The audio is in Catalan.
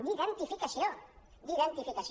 d’identificació d’identificació